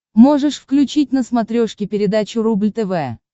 можешь включить на смотрешке передачу рубль тв